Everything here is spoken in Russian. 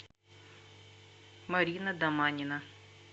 марина доманина